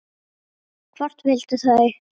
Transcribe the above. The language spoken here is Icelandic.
Hvort vildu þau?